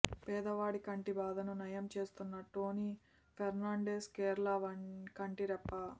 పేదవాడి కంటి బాధను నయం చేస్తోన్న టోనీ ఫెర్నాండెజ్ కేరళ కంటి రెప్ప